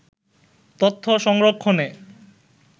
তথ্য সংরক্ষনে